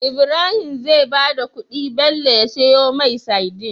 Ibrahim zai bada kudi Bello ya siyo mai sadin